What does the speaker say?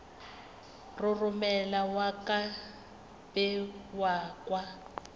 roromela ka be ka kwa